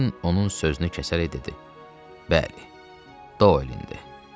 Kern onun sözünü kəsərək dedi: “Bəli, Dolindir.